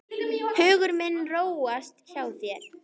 Hugur minn róaðist hjá þér.